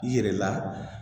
I yɛrɛ la